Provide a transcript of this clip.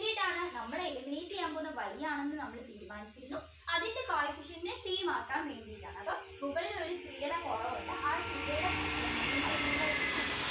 നമ്മള് eliminate ചെയ്യാൻ പോകുന്നത് Y ആണെന്ന് നമ്മൾ തീരുമാനിച്ചിരുന്നു അതിൻറെ coefficient same ആക്കാൻ വേണ്ടിയിട്ടാണ് അപ്പോ മുകളിൽ ഒരു കുറവുണ്ട് നമ്മൾ multiply ചെയ്യുന്നു